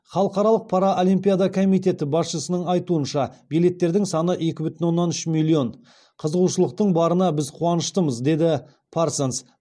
халықаралық паралимпиада комитеті басшысының айтуынша билеттердің саны екі бүтін оннан үш миллион қызығушылықтың барына біз қуаныштымыз деді парсонс